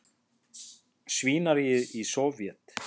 svínaríið í Sovét.